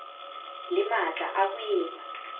le matla a ho etsa